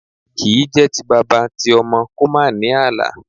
Kì í jẹ́ ti bàbá ti ọmọ kò má ní àlà.